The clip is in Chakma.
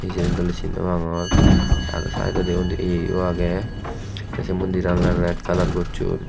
jiyen doley sin nopangor te aro saidodi undi yeyo agey te se mondiran oley red kalar gocchon.